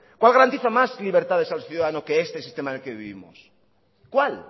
cuál garantiza más libertades al ciudadano que este sistema en el que vivimos cuál